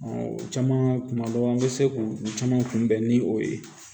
o caman tuma dɔ la an bɛ se k'u caman kunbɛn ni o ye